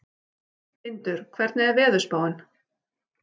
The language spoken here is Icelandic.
Tindur, hvernig er veðurspáin?